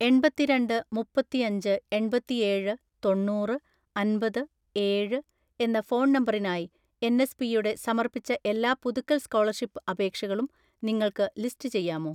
എണ്‍പത്തിരണ്ട് മുപ്പത്തിഅഞ്ച് എണ്‍പത്തിഏഴ് തൊണ്ണൂറ് അന്‍പത് ഏഴ് എന്ന ഫോൺ നമ്പറിനായി എൻ. എസ്. പിയുടെ സമർപ്പിച്ച എല്ലാ പുതുക്കൽ സ്‌കോളർഷിപ്പ് അപേക്ഷകളും നിങ്ങൾക്ക് ലിസ്റ്റ് ചെയ്യാമോ?